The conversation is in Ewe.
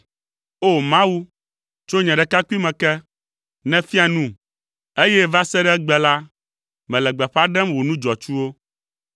O! Mawu; tso nye ɖekakpuime ke, nèfia num, eye va se ɖe egbe la, mele gbeƒã ɖem wò nu dzɔatsuwo.